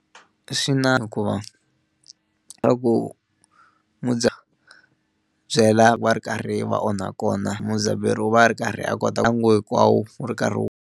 Swi na hikuva ku byela va ri karhi va onha kona mudzabheri wu va ri karhi a kota ku wu ri karhi wu.